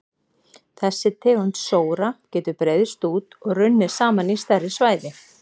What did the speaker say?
Þessi tegund sóra getur breiðst út og runnið saman í stærri svæði.